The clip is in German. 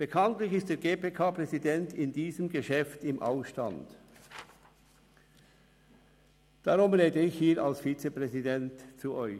Bekanntlich ist der GPK-Präsident in diesem Geschäft im Ausstand, darum spreche ich als Vizepräsident zu Ihnen.